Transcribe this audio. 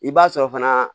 I b'a sɔrɔ fana